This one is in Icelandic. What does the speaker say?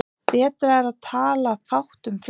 Betra er að tala fátt um flest.